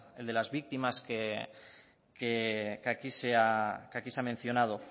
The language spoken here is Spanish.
el de las víctimas que aquí se ha mencionado